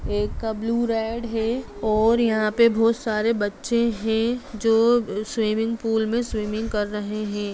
एक का blue red है और यहाँ पे बहुत सारे बच्चे हैं जो स्विमिंग पूल में स्विमिंग कर रहे हैं।